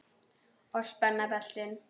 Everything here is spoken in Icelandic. Og spenna beltin.